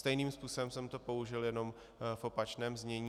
Stejným způsobem jsem to použil, jenom v opačném znění.